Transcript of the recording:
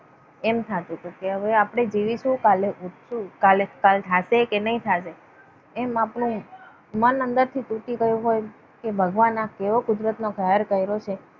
એમ થતું હતું કે હવે આપણે જીવીશું કાલે શું કાલ થશે કે નહીં થશે. એમ આપણું મન અંદરથી તૂટી ગયું હોય. કે ભગવાન આ કેવો કુદરતનો કહેર કર્યો છે?